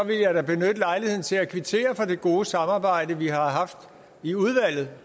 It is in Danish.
vil jeg da benytte lejligheden til at kvittere for det gode samarbejde vi har haft i udvalget